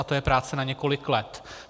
A to je práce na několik let.